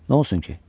Nə olsun ki?